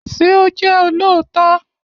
Ṣé o jẹ́ olóòótọ́?